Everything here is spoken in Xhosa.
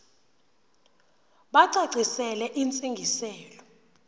bacacisele intsi ngiselo